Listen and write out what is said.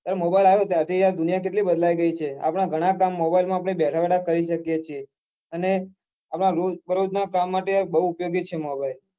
એ mobile આવ્યો ત્યાર થી યાર દુનિયા કેટલી બદલાઈ ગઈ છે અપના ઘણાં કામ મોબીલ્લે માં બેઠા બેઠા જ કરી શકીએ છીએ અને રોજ દરોજ ના કામ માટે યાર બઉ ઉપયોગી છે mobile